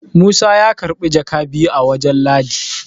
Musa ya karbi jaka biyu a wajen ladi